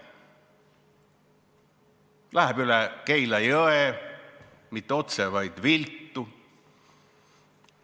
Ei lähe üle Keila jõe mitte otse, vaid viltu.